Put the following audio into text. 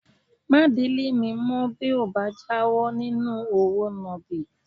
Má délé mi mọ́ bí o ò bá jáwọ́ nínú òwò nàbì